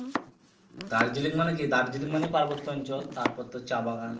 দার্জিলিং মানে কি দার্জিলিং মানে পার্বত অঞ্চল তারপর তো চা বাগান